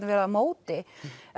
vera á móti